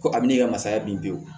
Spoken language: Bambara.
Ko a bɛ ne ka masaya bin